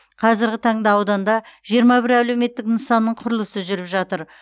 қазіргі таңда ауданда жиырма бір әлеуметтік нысанның құрылысы жүріп жатыр